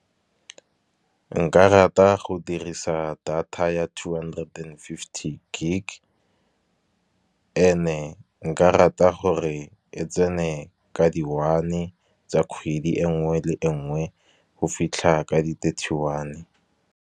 Nka rata go dirisa data ya two hundred and fifty gig, and-e nka rata gore e tsene ka di one tsa kgwedi engwe le engwe go fitlha ka di-thirty one.